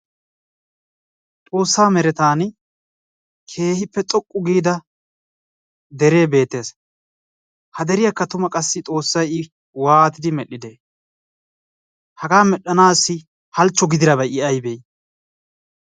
Xoossaa merettan keehippe xoqqu giida dere beettees. Ha deriyakka tumma qassi Xoossay I waatidi medhdhide hagaa medhdhanaassi halchcho gididabay I aybee?